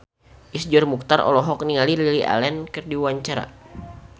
Iszur Muchtar olohok ningali Lily Allen keur diwawancara